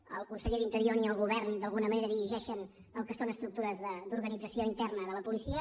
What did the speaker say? ni el conseller d’interior ni el govern d’alguna manera dirigeixen el que són estructures d’organització interna de la policia